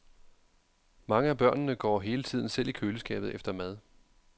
Mange af børnene går hele tiden selv i køleskabet efter mad.